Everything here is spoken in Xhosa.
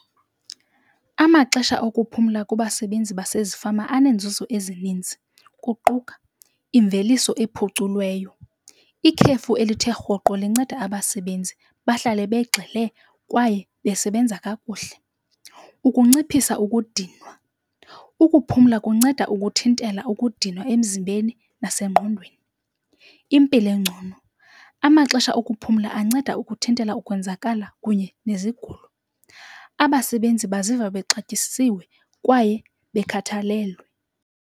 Amaxesha okuphumla kubasebenzi basezifama aneenzuzo ezininzi, kuquka imveliso ephuculiweyo. Ikhefu elithe rhoqo linceda abasebenzi bahlale begxile kwaye besebenza kakuhle. Ukunciphisa ukudinwa, ukuphumla kunceda ukuthintela ukudinwa emzimbeni nasengqondweni. Impilo engcono, amaxesha okuphumla anceda ukuthintela ukwenzakala kunye nezigulo. Abasebenzi baziva bexatyisiwe kwaye bekhathalelwe.